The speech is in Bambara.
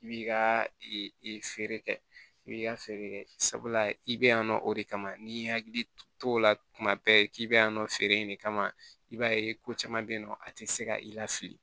I b'i ka feere kɛ i b'i ka feere kɛ sabula i bɛ yan nɔ o de kama n'i y'i hakili to o la tuma bɛɛ k'i bɛ yan nɔ feere in de kama i b'a ye ko caman bɛ yen nɔ a tɛ se ka i lafili